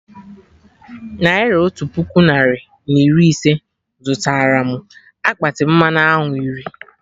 Naira otu puku narị na iri ise zụtara mụ akpati mmanụ aṅụ iri